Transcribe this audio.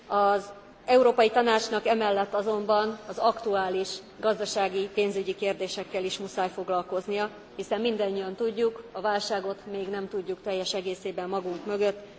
Az Európai Tanácsnak emellett azonban az aktuális gazdasági, pénzügyi kérdésekkel is muszáj foglalkoznia, hiszen mindannyian tudjuk, a válságot még nem tudjuk teljes egészében magunk mögött.